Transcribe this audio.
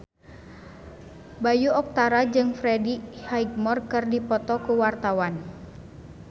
Bayu Octara jeung Freddie Highmore keur dipoto ku wartawan